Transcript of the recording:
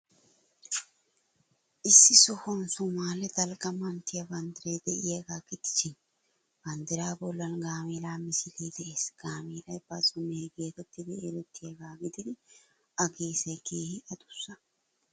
Issi sohuwan Soomaali dalgga manttiyaa banddiray de'iyaagaa gidishin, banddiraa bollan gaameela misilee de'ees. Gaameelay bazzo mehee geetettidi erettiyaagaa gididi A geesay keehi adussa.